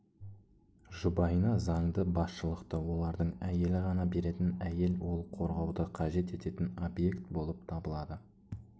жұбайына заңды басшылықты олардың әйелі ғана беретін әйел ол қорғауды қажет ететін объект болып табылады